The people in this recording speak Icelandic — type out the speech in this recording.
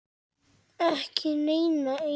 Ekki neina eina.